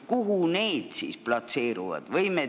Kuhu need platseeruvad?